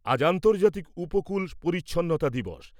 আজ আন্তর্জাতিক উপকূল পরিচ্ছন্নতা দিবস ।